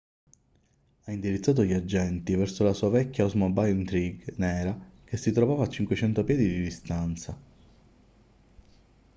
ha indirizzato gli agenti verso la sua vecchia oldsmobile intrigue nera che si trovava a 500 piedi di distanza